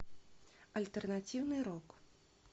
альтернативный рок